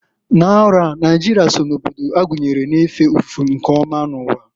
N'arọ a, Naijịrịa so na obodo agunyere na-efe ofufe nke ọma n'uwa.